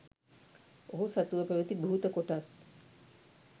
ඔහු සතුව පැවැති භූත කොටස්